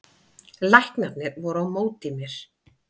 Læknarnir voru á móti mér